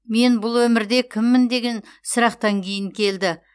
мен бұл өмірде кіммін деген сұрақтан кейін келді